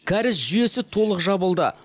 кәріз жүейесі толық жабылды